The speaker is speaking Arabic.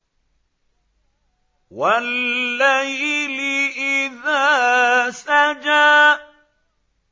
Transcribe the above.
وَاللَّيْلِ إِذَا سَجَىٰ